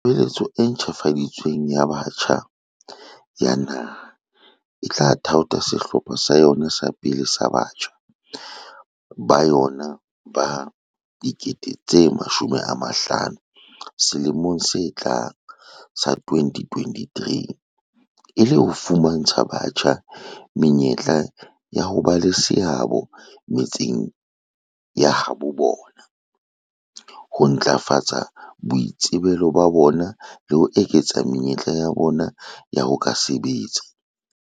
"Tshebeletso e ntjhafadi tsweng ya Batjha ya Naha e tla thaotha sehlopha sa yona sa pele sa batjha ba yona ba 50 000 selemong se tlang sa 2023, e le ho fumantsha batjha menyetla ya ho ba le seabo metseng ya habo bona, ho ntlafatsa boitsebelo ba bona le ho eketsa menyetla ya bona ya ho ka sebetsa."